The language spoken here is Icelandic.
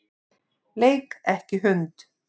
Leik ekki hund.